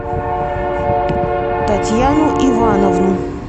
татьяну ивановну